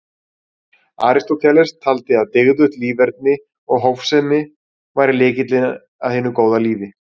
Aristóteles taldi að dygðugt líferni og hófsemi væri lykillinn að hinu góða lífi.